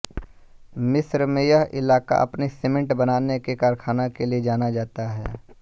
मिस्र में यह इलाक़ा अपनी सीमेंट बनाने के कारख़ानों के लिये जाना जाता है